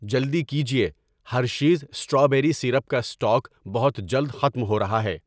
جلدی کیجیے، Hershey's strawberry syrup کا اسٹاک بہت جلد ختم ہو رہا ہے۔